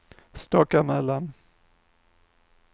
Stockamöllan